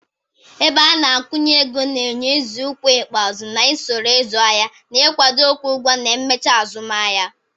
Ebeana-akwụnyeego na-enye nzọụkwụ ikpeazụ na usoro ịzụ ahịa, na ikwado ịkwụ ụgwọ na imechiazumahia.